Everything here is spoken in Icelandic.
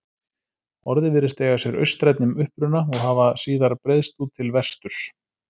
Orðið virðist eiga sér austrænni uppruna og hafa síðar breiðst út til vesturs.